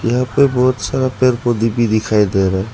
यहाँ पे बहोत सारा पेर पोधै भी दिखाई दे रहा है।